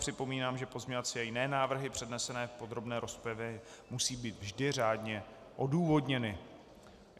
Připomínám, že pozměňovací a jiné návrhy přednesené v podrobné rozpravě musí být vždy řádně odůvodněny.